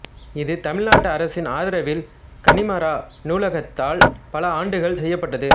இது தமிழ்நாட்டு அரசின் ஆதரவில் கன்னிமரா நூலகத்தால் பல ஆண்டுகள் செய்யப்பட்டது